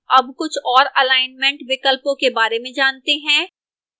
अब कुछ और अलाइनमेंट विकल्पों के बारे में जानते हैं